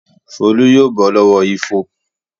Folú yóò bọ́ lọ́wọ́ ifo.